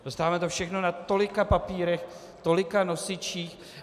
Dostáváme to všechno na tolika papírech, tolika nosičích...